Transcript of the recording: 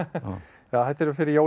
já þetta er fyrir jólin